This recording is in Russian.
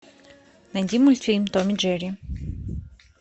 найди мультфильм том и джерри